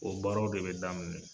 O baarow de be daminɛ .